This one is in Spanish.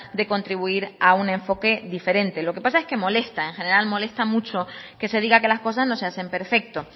de contribuir a un enfoque diferente lo que pasa es que molesta en general molesta mucho que se diga que las cosas no se hacen perfecto